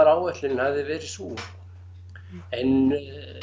áætlunin hafði verið sú en